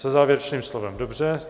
Se závěrečným slovem, dobře.